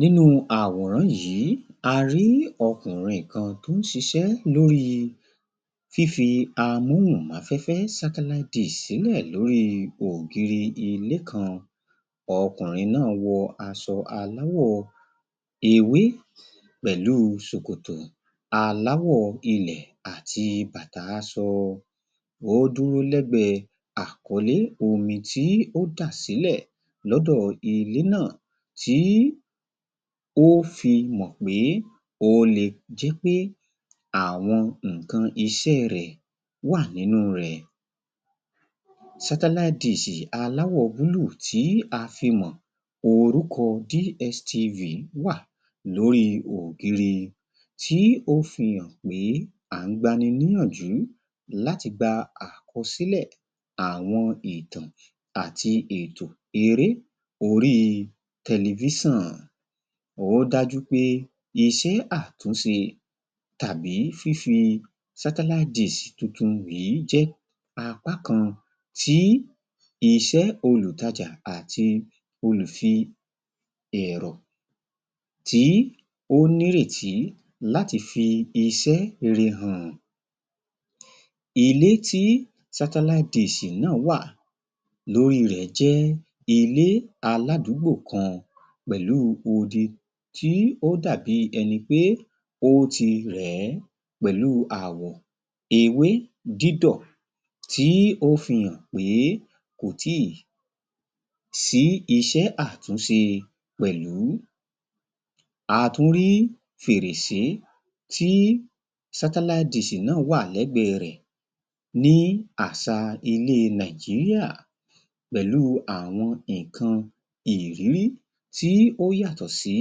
Nínú àwòrán yìí, a rí ọkùnrin kan tí ó ń ṣiṣẹ́ lórí fífi amóhùnmáfẹ́fẹ́ satellite dish sílẹ̀ lórí ògiri ilé kan. Ọ̀kùnrin náà wọ aṣọ aláwọ̀ ewé pẹ̀lú ṣòkòtò aláwọ̀ ilẹ̀ àti bàtà aṣọ ó dúró lẹ́gbẹ̀ẹ́ àkọlé omi tí ó dà sílẹ̀ lọ́dọ̀ ilé náà tí ó fi mọ̀ pé ó le di pé àwọn nǹkan iṣẹ́ rẹ̀ wà nínú rẹ̀, sátáláitì aláwọ̀ búlùù tí a fi mọ̀ orúkọ DSTV wà lórí ògiri tí ó fi hàn pé à ń gba ni níyànjú láti gba àkọsílẹ̀ àwọn ìtàn àti ètò eré orí tẹlifísàn, ó dájú pé iṣẹ́ àtúnṣe tàbí fífi satellite dish tuntun yìí jẹ́ apá kan tí iṣẹ́ olùtajà àti olùfi-ẹ̀rọ̀ tí ó ní ìrètí láti fi iṣẹ́ rere hàn. Ilé tí satellite dish náà wà lórí rẹ̀ jẹ́ ilé aládùúgbò kan pẹ̀lú odi tí ó dàbí ẹni pé ó ti rẹ̀ ẹ́, pẹ̀lú àwọ̀ ewé dídọ̀ tí ó fi hàn pé kò tíì sí iṣẹ́ àtúnṣe pẹ̀lú, a tún rí fèrèsé tí satellite dish náà wà lẹ́gbẹ̀ẹ́ rẹ̀ ní àṣa ilé Nàìjíríà pẹ̀lú àwọn nǹkan ìrírí tí ó yàtọ̀ sí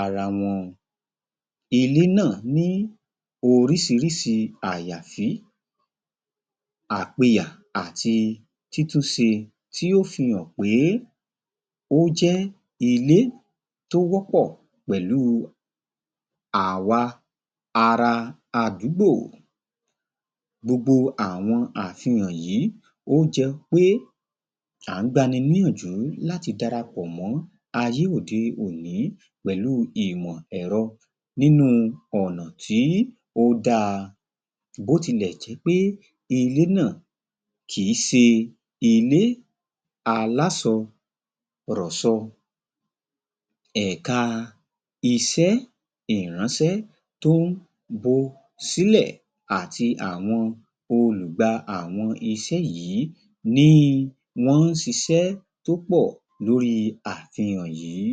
ara wọn. Ilé náà ní oríṣiríṣi àyàfí, àpiyà àti títúnṣe tí ó fi hàn pé ó jé ilé tí ó wọ́pọ̀ pẹ̀lú àwa ara àdúgbò, gbogbo àwọn àfihàn yìí ó jẹ́ pé à ń gbani níyànjú láti dara pọ̀ mọ́ ayé òde-òní pẹ̀lú ìmọ̀ èrọ nínú ọ̀nà tí ó da, bó tilẹ̀ jẹ́ pé ilé náà kìí ṣe ilé aláṣọrọ̀ṣọ ẹ̀ka iṣẹ́ ìránṣẹ́ tí ó ń bo sílẹ̀ àti àwọn olùgba àwọn iṣẹ́ yìí ni wọ́n ń ṣiṣẹ́ tó pọ̀ lórí àfihàn yìí.